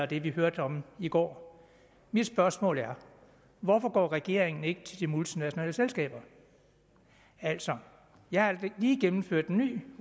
det vi hørte om i går mit spørgsmål er hvorfor går regeringen ikke til de multinationale selskaber altså jeg har lige gennemført en ny